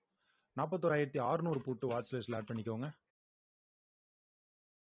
நாற்பத்தி ஓராயிரத்தி அறுநூறு put watch list ல add பண்ணிக்கோங்க